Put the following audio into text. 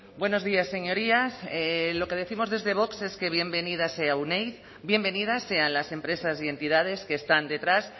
buenos días señorías lo que décimos desde vox es que bienvenida sea euneiz bienvenidas sean las empresas y entidades que están detrás